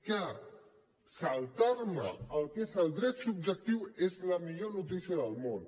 que saltar me el que és el dret subjectiu és la millor notícia del món